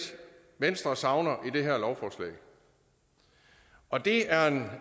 venstre savner i det her lovforslag og det er en